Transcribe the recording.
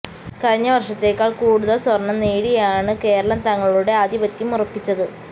കഴിഞ്ഞ വര്ഷത്തെക്കാള് കൂടുതല് സ്വര്ണ്ണം നേടിയാണ് കേരളം തങ്ങളുടെ ആധിപത്യം ഉറപ്പിച്ചത്